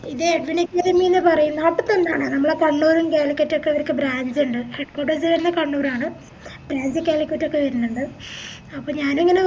ഇത് എഡ്വിൻ അക്കാദമിന്ന് പറേന്ന ആണ് നമ്മളെ കണ്ണൂരും കാലിക്കറ്റും ഒക്കെ ഇവര്ക്ക് branch ഇണ്ട് പക്ഷെ head quaters വരുന്നേ കണ്ണൂര് ആണ് branch കാലിക്കറ്റൊക്കെ വരുന്നുണ്ട് അപ്പൊ ഞാനിങ്ങനെ